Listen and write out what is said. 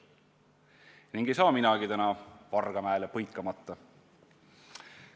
Ning ei saa minagi täna jätta Vargamäele põikamata.